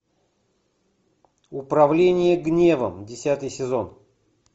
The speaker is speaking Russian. управление гневом десятый сезон